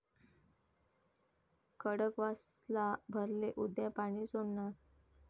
खडकवासला भरले, उद्या पाणी सोडणार!